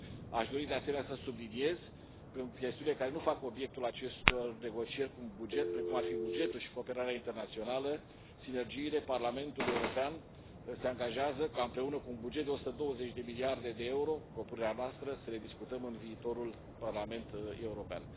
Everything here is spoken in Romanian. Aș dori, de asemenea, să subliniez că chestiunile care nu fac obiectul acestor negocieri, precum bugetul și cooperarea internațională, sinergiile, Parlamentul European se angajează ca, împreună cu un buget de 120 de miliarde de euro propunerea noastră să le discutăm în viitorul Parlament European.